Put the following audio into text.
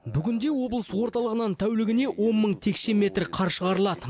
бүгінде облыс орталығынан тәулігіне он мың текше метр қар шығарылады